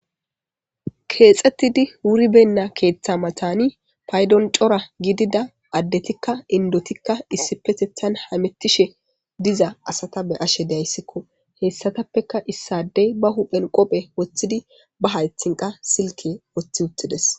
Keexettidi wuri benna keeththa matani paydon cora gidida addetikka indotikka issi petethan hamettishe diza asata be ashe dayssikko heessatappeka issadey ba huphen qophe woththidi ba haythinqa silke woththi uttides